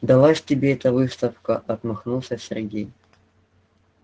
далась тебе эта выставка отмахнулся сергей